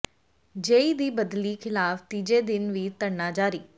ਜੇਈ ਦੀ ਬਦਲੀ ਖ਼ਿਲਾਫ਼ ਤੀਜੇ ਦਿਨ ਵੀ ਧਰਨਾ ਜਾਰੀ